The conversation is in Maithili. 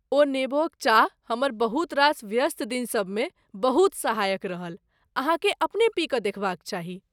ओ नेबोक चाह हमर बहुत रास व्यस्त दिनसभमे बहुत सहायक रहल, अहाँकेँ अपने पी कऽ देखबाक चाही।